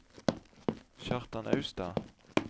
Kjartan Austad